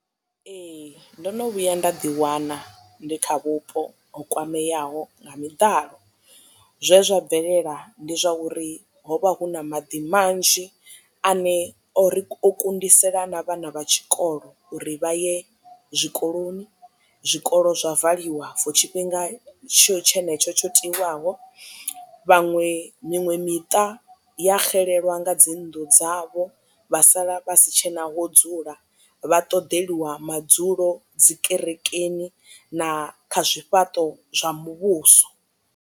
Ee ndo no vhuya nda ḓiwana ndi kha vhupo ho kwameaho nga miḓalo zwe zwa bvelela ndi zwa uri ho vha hu na maḓi manzhi ane ori kundisela na vhana vha tshikolo uri vha ye zwikoloni zwikolo zwa valiwa for tshifhinga tshenetsho tsho tiwaho vhaṅwe miṅwe miṱa ya xelelwa nga dzi nnḓu dzavho vha sala vha si tshena ho dzula vha ṱoḓeliwa madzulo dzi kerekeni na kha zwifhaṱo zwa muvhuso.